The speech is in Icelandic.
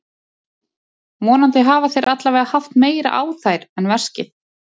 Vonandi hafa þeir allavega horft meira á þær en veskið.